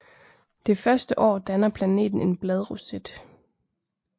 Det første år danner planten en bladroset